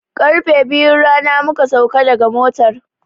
Karfe biyun rana muka sauka daga motar.